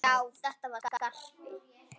Já, þetta var Skarpi!